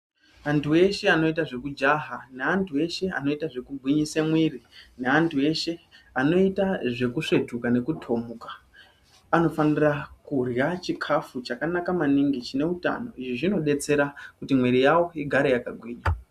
Antu eshe anoita zvekujaha neantu eshe anoita zvekugwinyisa mwiri naantu eshe anoita zvekusvetuka nekutomuka anofanira kurya chikafu chakanaka maningi chine utano izvi zvinodetsera kuti mwiri yavo irambe yakagwinya .